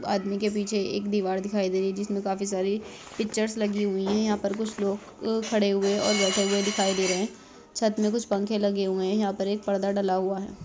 आदमी के पीछे एक दीवार दिखाई दे रही है जिसमें काफ़ी सारी पिक्चर्स लगी हुई है यहा पर कुछ लोग खड़े हुए और बैठे हुए दिखाई दे रहे है छत में कुछ पंखे लगे हुए है यह पर एक पर्दा डला हुआ हैं।